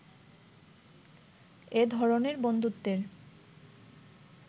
এ ধরনের বন্ধুত্বের